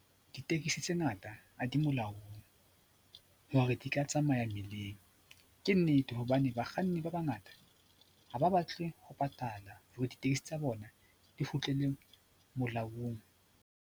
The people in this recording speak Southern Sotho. Ditekesi tse ngata ha di molaong hore di ka tsamaya mmileng. Ke nnete hobane bakganni ba bangata ha ba batle ho patala hore ditekesi tsa bona di kgutlele molaong.